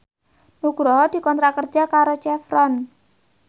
Nugroho dikontrak kerja karo Chevron